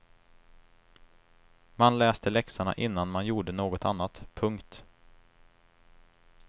Man läste läxorna innan man gjorde något annat. punkt